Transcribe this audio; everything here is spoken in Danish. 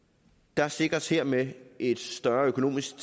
der sikres hermed et større økonomisk